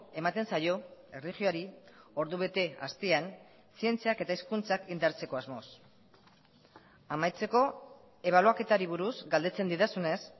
ematen zaio erlijioari ordubete astean zientziak eta hezkuntzak indartzeko asmoz amaitzeko ebaluaketari buruz galdetzen didazunez